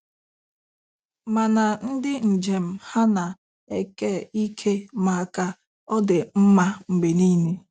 Mana ndị njem ha ana-eke ike maka ọ dị mma Mgbe niile?